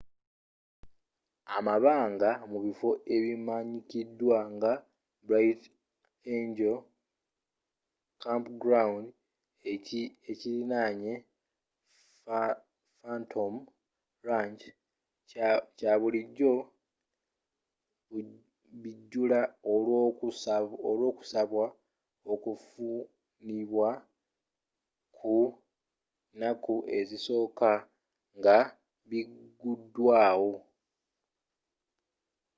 amabanga mu bifo ebimanyikidwa nga bright angel campground ekiriraanye phantom ranch kya bulijjo bijjula olw'okusabwa okufunibwa ku naku ezisooka nga biguddwawo